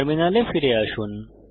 টার্মিনালে ফিরে আসুন